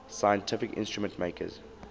scientific instrument makers